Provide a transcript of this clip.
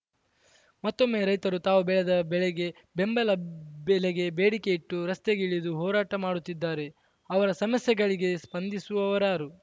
ಮತ್ತೊಮ್ಮೆ ರೈತರು ತಾವು ಬೆಳೆದ ಬೆಳೆಗೆ ಬೆಂಬಲ ಬೆಲೆಗೆ ಬೆಡಿಕೆಯಿಟ್ಟು ರಸ್ತೆಗಿಳಿದು ಹೋರಾಟ ಮಾಡುತ್ತಿದ್ದಾರೆ ಅವರ ಸಮಸ್ಯೆಗಳಿಗೆ ಸ್ಪಂದಿಸುವರಾರು